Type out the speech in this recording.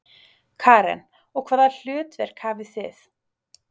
Karen: Og hvaða hlutverk hafið þið?